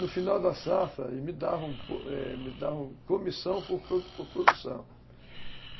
No final da safra, eles me davam comissão por por produção.